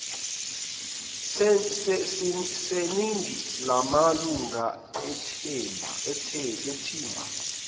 seningi lamalunga ethimba